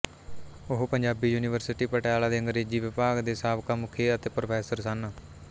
ਉਹ ਪੰਜਾਬੀ ਯੂਨੀਵਰਸਿਟੀ ਪਟਿਆਲਾ ਦੇ ਅੰਗਰੇਜ਼ੀ ਵਿਭਾਗ ਦੇ ਸਾਬਕਾ ਮੁਖੀ ਅਤੇ ਪ੍ਰੋਫੈਸਰ ਸਨ